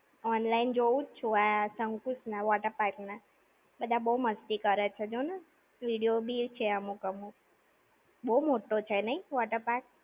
Online જોવ જ છું. શકુંશ ના water park ના. બધા બો મસ્તી કરે છે જો ને! Video બી છે અમુક અમુક. બો મોટ્ટો છે નઈ waterpark!